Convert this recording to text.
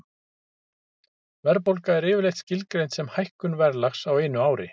Verðbólga er yfirleitt skilgreind sem hækkun verðlags á einu ári.